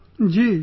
Ji Ji